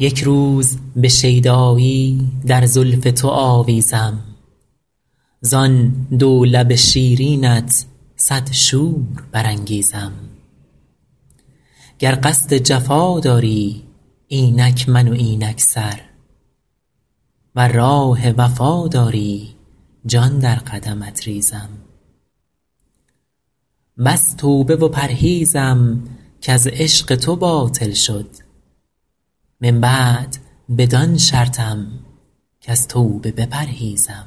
یک روز به شیدایی در زلف تو آویزم زان دو لب شیرینت صد شور برانگیزم گر قصد جفا داری اینک من و اینک سر ور راه وفا داری جان در قدمت ریزم بس توبه و پرهیزم کز عشق تو باطل شد من بعد بدان شرطم کز توبه بپرهیزم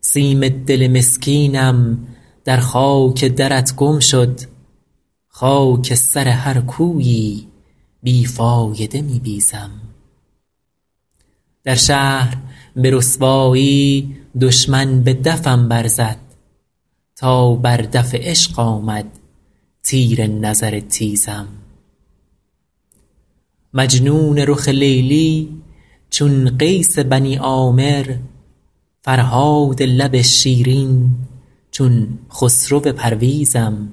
سیم دل مسکینم در خاک درت گم شد خاک سر هر کویی بی فایده می بیزم در شهر به رسوایی دشمن به دفم برزد تا بر دف عشق آمد تیر نظر تیزم مجنون رخ لیلی چون قیس بنی عامر فرهاد لب شیرین چون خسرو پرویزم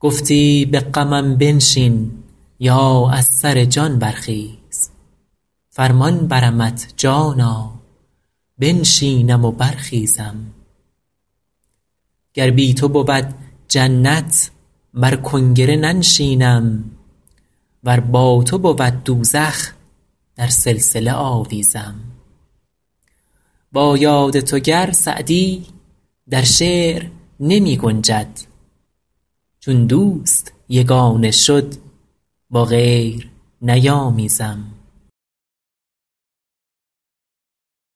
گفتی به غمم بنشین یا از سر جان برخیز فرمان برمت جانا بنشینم و برخیزم گر بی تو بود جنت بر کنگره ننشینم ور با تو بود دوزخ در سلسله آویزم با یاد تو گر سعدی در شعر نمی گنجد چون دوست یگانه شد با غیر نیامیزم